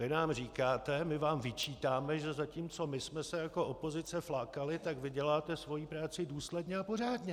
Vy nám říkáte: my vám vyčítáme, že zatímco my jsme se jako opozice flákali, tak vy děláte svoji práci důsledně a pořádně.